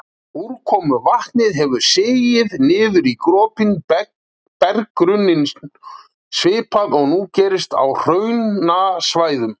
Úrkomuvatnið hefur sigið niður í gropinn berggrunninn, svipað og nú gerist á hraunasvæðum.